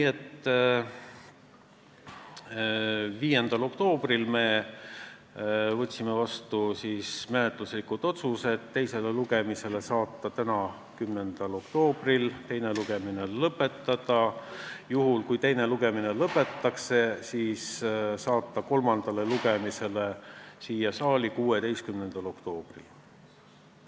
5. oktoobril me võtsime vastu menetluslikud otsused: saata eelnõu teisele lugemisele tänaseks, 10. oktoobriks, teine lugemine lõpetada ja juhul kui teine lugemine lõpetatakse, saata eelnõu kolmandale lugemisele siia saali 16. oktoobriks.